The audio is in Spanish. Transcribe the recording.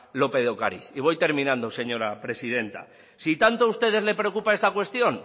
lópez de ocariz y voy terminando señora presidenta si tanto a ustedes les preocupa esta cuestión